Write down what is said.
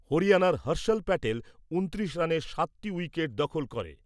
হরিয়ানার হর্ষল প্যাটেল ঊনত্রিশ রানে সাতটি উইকেট দখল করে ।